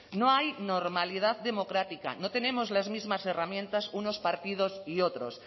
no hay normalidad democrática no tenemos las mismas herramientas unos partidos y otros